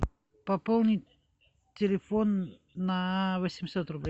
пополнить телефон на восемьсот рублей